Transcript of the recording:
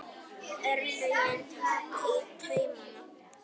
Örlögin taka í taumana